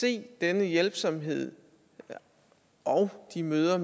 se denne hjælpsomhed og de møder